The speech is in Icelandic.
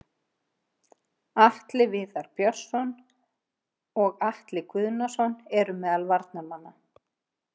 Atli Viðar Björnsson og Atli Guðnason voru meðal varamanna.